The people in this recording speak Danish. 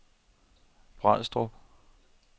Brædstrup